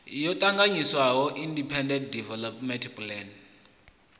yo ṱanganyiswaho independent development plan